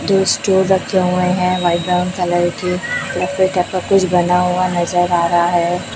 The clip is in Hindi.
दो स्टूल रखे हुए हैं व्हाइट ब्राउन कलर के कुछ बना हुआ नजर आ रहा है।